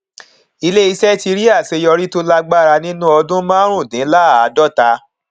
ilé iṣẹ ti rí àṣeyọrí tó lágbára nínú ọdún márùnúndínláàdọta